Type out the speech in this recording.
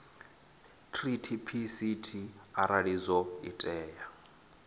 treaty pct arali zwo tea